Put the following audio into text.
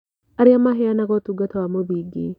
Arĩa maheanaga ũtungata wa mũthingi